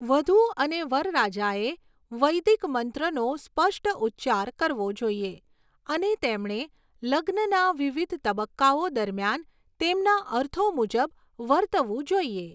વધૂ અને વરરાજાએ વૈદિક મંત્રોનો સ્પષ્ટ ઉચ્ચાર કરવો જોઈએ અને તેમણે લગ્નના વિવિધ તબક્કાઓ દરમિયાન તેમના અર્થો મુજબ વર્તવું જોઈએ.